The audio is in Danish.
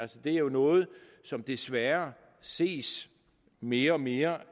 det er jo noget som desværre ses mere og mere